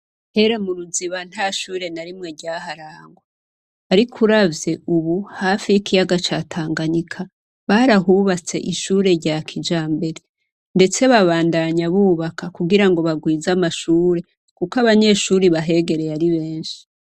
Kera mu Ruziba nta shuri na rimwe ryaharangwa. Ariko uravye ubu hafi y'ikiyaga ca Tanganyika, barahubatse ishure rya kijambere, ndetse babandanya bubaka kugira bagwize amashure kuko abanyeshure bahegereye ari benshi.